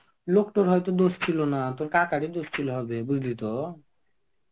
লোকটোর হয়তো দোষ ছিল না. তোর কাকারই দোষ ছিল হবে. বুঝলি তো.